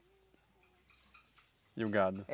E o gado?